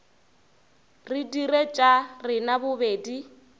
re dire tša rena bobedi